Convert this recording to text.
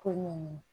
Ko ɲɛnamini